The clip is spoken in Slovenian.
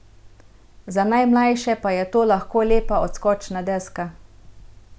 Za najmlajše pa je to lahko lepa odskočna deska.